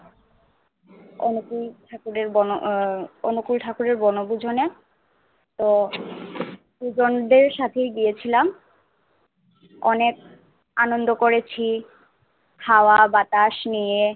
অনুকূল ঠাকুরে বোন উহ অনুকূল ঠাকুরে বনভুজনে তো গুরুজনদের সাথে গিয়েছিলাম অনেক আনন্দ করেছি হাওয়া বাতাস নিয়ে